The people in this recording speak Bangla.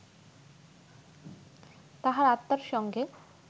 তাঁহার আত্মার সঙ্গে